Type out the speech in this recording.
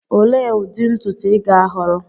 Olee ụdị ntutu ị ga-ahọrọ?